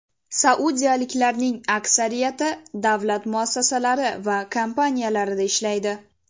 Saudiyaliklarning aksariyati davlat muassasalari va kompaniyalarida ishlaydi.